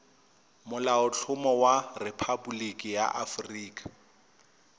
molaotlhomo wa rephaboliki ya aforika